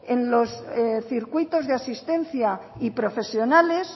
en los circuitos de asistencia y profesionales